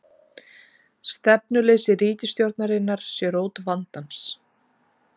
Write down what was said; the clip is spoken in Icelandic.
Stefnuleysi ríkisstjórnarinnar sé rót vandans